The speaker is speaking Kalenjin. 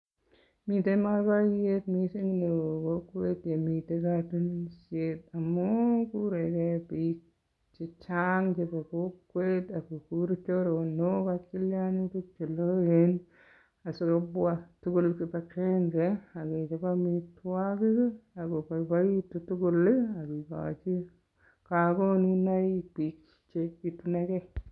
Miten boiboiyet neo mising kokwet ye miten kotunisiet amun kurege biik che chang chebo kokwet ak kogur choronok ak kogur tilyanutik che loen asikobwa tugul kibagenge ak kechop amitwogik ak ko boiboitu tugul ak kigochi konunoik biik che ituni gee.